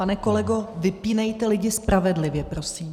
Pane kolego, vypínejte lidi spravedlivě, prosím.